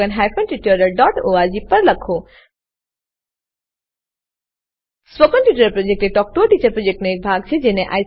spoken tutorial project talk to a teacher પ્રોજેક્ટનો એક ભાગ છે